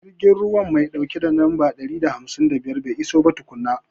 Jirgin ruwa mai ɗauke da lamba ɗari da hamsin da biyar bai iso ba tukunna.